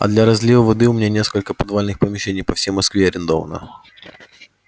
а для разлива воды у меня несколько подвальных помещений по всей москве арендовано